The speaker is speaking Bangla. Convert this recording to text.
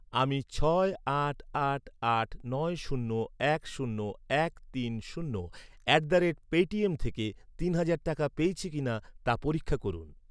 আমি ছয় আট আট আট নয় শূন্য এক শূন্য এক তিন শূন্য অ্যাট দ্য রেট পেটিএম থেকে তিন হাজার টাকা পেয়েছি কিনা তা পরীক্ষা করুন।